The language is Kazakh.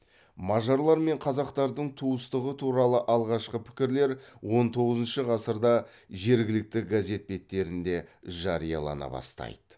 мажарлар мен қазақтардың туыстығы туралы алғашқы пікірлер он тоғызыншы ғасырда жергілікті газет беттерінде жариялана бастайды